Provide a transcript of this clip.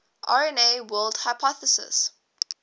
rna world hypothesis